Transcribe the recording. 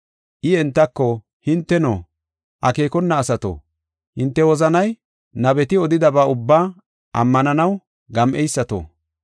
I entako, “Hinteno, akeekona asato, hinte wozanay nabeti odidaba ubbaa ammananaw gam7eysato,